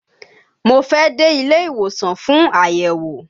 Mo fẹ́ dé ilé ìwòsàn fún àyẹ̀wò